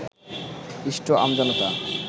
পিষ্ট আমজনতা